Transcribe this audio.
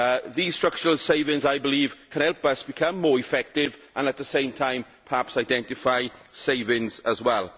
These structural savings, I believe, can help us become more effective and, at the same time, perhaps identify savings as well.